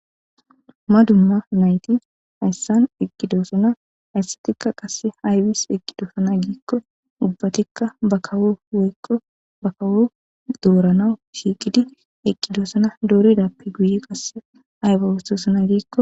Dumma dumma nayti hayssan eqqidoosana hayssatikka qasse haywis eqqidoosana giikko ubbatikka bakawo woykko bakawo dooranawu shiiqidi eqqidoosana dooridappe guye qasse hayba wostosana giikko